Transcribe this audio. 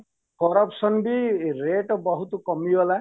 Corruption ବି rate ବହୁତ କମିଗଲା